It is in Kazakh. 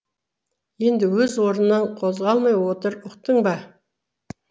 енді өз орныңнан қозғалмай отыр ұқтың ба